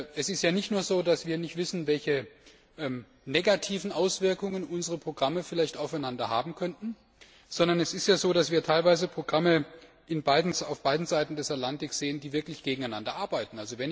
Es ist ja nicht nur so, dass wir nicht wissen, welche negativen Auswirkungen unsere Programme vielleicht aufeinander haben könnten, sondern es ist so, dass wir teilweise Programme auf beiden Seiten des Atlantiks sehen, die wirklich gegeneinander arbeiten.